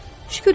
Şükür edin.